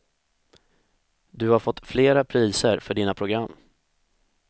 Du har fått flera priser för dina program.